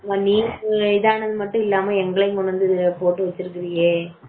நீதான் அது மட்டும் இல்லாம எங்களையும் போட்டு வச்சிருக்கீய